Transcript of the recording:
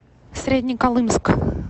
среднеколымск